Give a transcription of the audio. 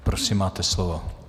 Prosím, máte slovo.